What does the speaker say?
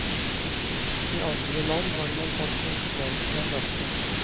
I andre land har man tatt konsekvensen av dette.